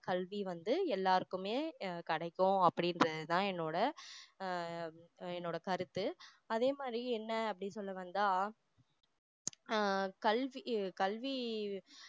கல்வி வந்து எல்லாருக்குமே அஹ் கிடைக்கும் அப்படின்றது தான் என்னோட ஆஹ் என்னோட கருத்து அதே மாதிரி என்ன அப்படி சொல்ல வந்தா ஆஹ் கல்விக்கு கல்வி